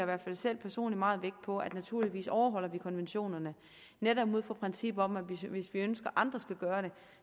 hvert fald selv personligt meget vægt på at vi naturligvis overholder konventionerne netop ud fra princippet om at hvis hvis vi ønsker at andre skal gøre det